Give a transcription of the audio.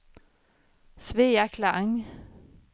Svea Klang